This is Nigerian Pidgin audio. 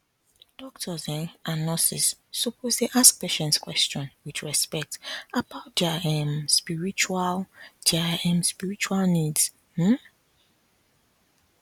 doctors um and nurses suppose dey ask patients question with respect about their um spiritual their um spiritual needs um